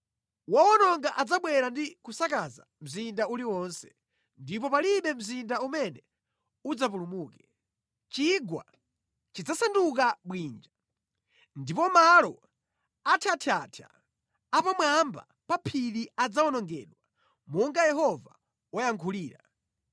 Wowononga adzabwera ndi kusakaza mzinda uliwonse, ndipo palibe mzinda umene udzapulumuke. Chigwa chidzasanduka bwinja ndipo malo athyathyathya a pamwamba pa phiri adzawonongedwa monga Yehova wayankhulira.